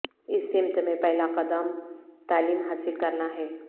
اس سمت میں پہلا قدم تعلیم حاصل کرنا ہے